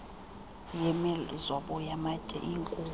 yemizobo yamatye inkhulu